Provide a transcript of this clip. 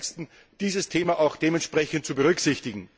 und 30. dieses Thema auch dementsprechend zu berücksichtigen.